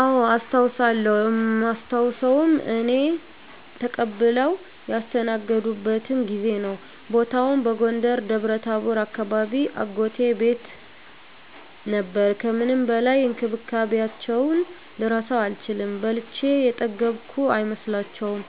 አዎ አስታዉሳለው እማስታዉሰዉም እኔን ተቀብለዉ ያስተናገዱበትን ጊዜ ነዉ። ቦታዉም በጎንደር ደብረታቦር አካባቢ አጎቴ ቤት ነበር ከምንም በላይ እንክብካቤያቸዉን ልረሳዉ አልችልም። በልቼ የጠገብኩ አይመስላቸዉም፣